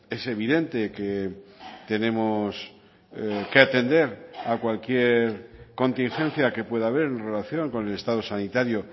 es evidente que tenemos que atender a cualquier contingencia que pueda haber en relación con el estado sanitario